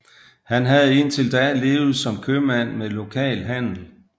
Han havde indtil da levet som købmand med lokal handel